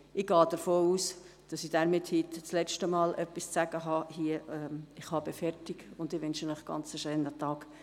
Ich gehe davon aus, dass ich heute das letzte Mal gesprochen habe, und wünsche Ihnen einen schönen Tag.